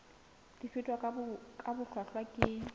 di fetwa ka bohlwahlwa ke